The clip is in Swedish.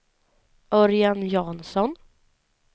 Örjan Jansson